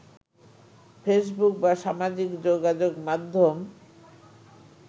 Facebook বা সামাজিক যোগাযোগ মাধ্যম